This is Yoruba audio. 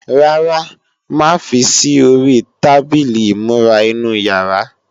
Rárá, má fi sí ori tábìlì ìmúra inú yàrá